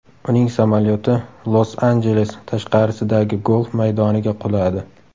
Uning samolyoti Los-Anjeles tashqarisidagi golf maydoniga quladi.